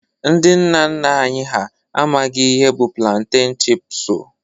Ndị nna nna anyị ha amaghị ihe bụ planteñ chipsu